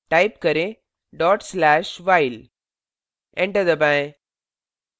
type करें/dot slash while enter दबाएं